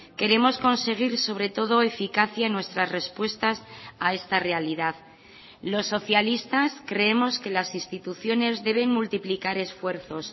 queremos conseguir sobre todo eficacia en nuestras respuestas a esta realidad los socialistas creemos que las instituciones deben multiplicar esfuerzos